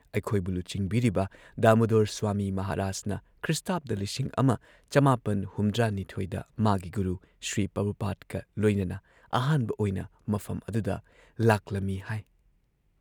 ꯑꯩꯈꯣꯏꯕꯨ ꯂꯨꯆꯤꯡꯕꯤꯔꯤꯕ ꯗꯥꯃꯨꯗꯣꯔ ꯁ꯭ꯋꯥꯃꯤ ꯃꯍꯥꯔꯥꯖꯅ ꯈ꯭ꯔꯤ: ꯱꯹꯷꯲ ꯗ ꯃꯥꯒꯤ ꯒꯨꯔꯨ ꯁ꯭ꯔꯤꯄ꯭ꯔꯚꯨꯄꯥꯗꯒ ꯂꯣꯏꯅꯅ ꯑꯍꯥꯟꯕ ꯑꯣꯏꯅ ꯃꯐꯝ ꯑꯗꯨꯗ ꯂꯥꯛꯂꯝꯏ ꯍꯥꯏ ꯫